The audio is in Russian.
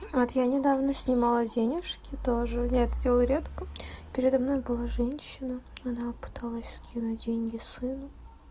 вот я недавно снимала денежки тоже я это делаю редко передо мной была женщина она пыталась скинуть деньги сыну